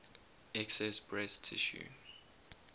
excess breast tissue